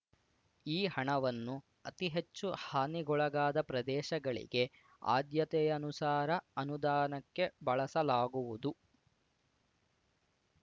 ಈ ಹಣವನ್ನು ಅತಿ ಹೆಚ್ಚು ಹಾನಿಗೊಳಗಾದ ಪ್ರದೇಶಗಳಿಗೆ ಆದ್ಯತೆಯನುಸಾರ ಅನುದಾನಕ್ಕೆ ಬಳಸಲಾಗುವುದು